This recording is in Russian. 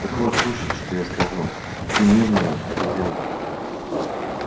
так вот слушай что я скажу ты медная обезьяна